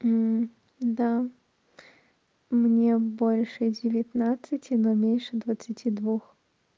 да мне больше девятнадцати но меньше двадцати двух